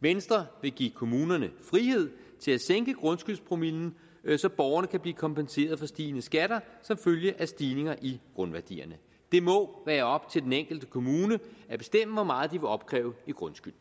venstre vil give kommunerne frihed til at sænke grundskyldspromillen så borgerne kan blive kompenseret for stigende skatter som følge af stigninger i grundværdierne det må være op til den enkelte kommune at bestemme hvor meget de vil opkræve i grundskyld